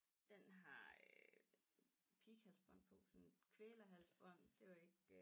Den har øh pighalsbånd på sådan kvælerhalsbånd det var ikke